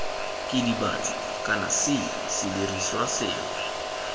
kidibatso kana c sedirisiwa sengwe